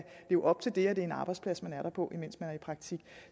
leve op til at det er en arbejdsplads man er på imens man er i praktik